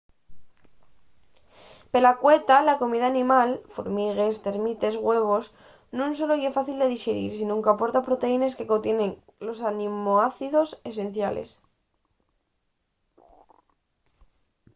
pela cueta la comida animal formigues termites güevos non solo ye fácil de dixerir sinón qu’aporta proteínes que contienen los aminoácidos esenciales